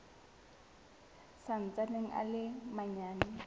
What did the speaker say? sa ntsaneng a le manyane